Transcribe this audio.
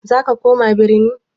Za ka koma birni?